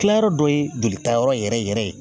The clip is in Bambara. Kilayɔrɔ dɔ ye jolita yɔrɔ yɛrɛ yɛrɛ ye